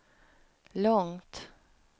långt